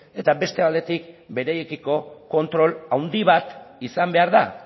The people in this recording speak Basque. eta beste aldetik beraiekiko kontrol handi bat izan behar da